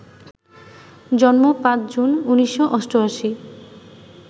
জন্ম ৫ জুন, ১৯৮৮